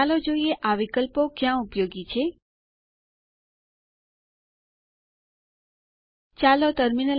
ચાલો હું ફરીથી સ્લાઇડ્સ ઉપર પાછી જાઉં